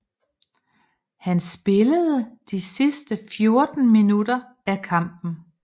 Han spillede de sidste 14 minutter af kampen